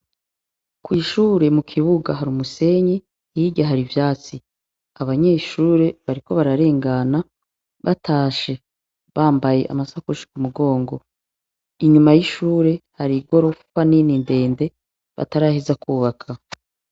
Kw'ishure mukibuga hari umusenyi, hirya hari ivyatsi, abanyeshure bariko bararengana batashe bambaye amasakoshi kumugongo inyuma y'ishure hari igorofa nini ndende bataraheza kwubaka.